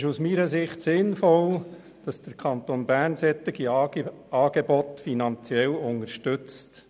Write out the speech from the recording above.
Es ist aus meiner Sicht sinnvoll, dass der Kanton Bern solche Angebote finanziell unterstützt.